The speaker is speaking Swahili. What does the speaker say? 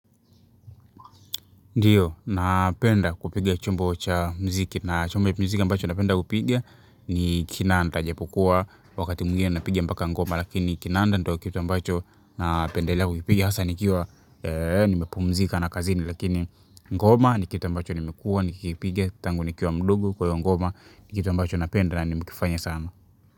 Ndiyo, napenda kupiga chombo cha mziki na chombo ya mziki ambacho napenda kupiga ni kinanda ijapokuwa wakati mwingine napiga mpaka ngoma lakini kinanda ndo kitu ambacho napendelea kupiga hasa nikiwa nimepumzika na kazini lakini ngoma ni kitu ambacho nimekuwa nikikipiga tangu nikiwa mdogo kwa hiyo ngoma ni kitu ambacho napenda na nimekifanya sana.